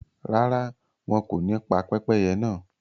Ràrà, wọn kò ní pa pẹpẹyẹ̀ náà